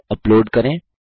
file upload करें